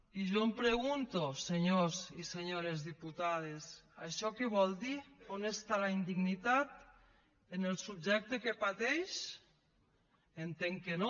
i jo em pregunto senyors i senyores diputades això què vol dir on està la indignitat en el subjecte que pateix entenc que no